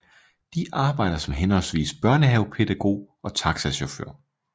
De arbejder som henholdsvis børnehavepædagog og taxachauffør